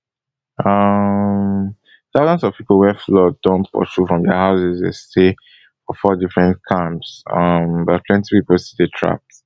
um thousands of pipo wey flood don pursue from dia house dey stay for four different camps um but plenty pipo still dey trapped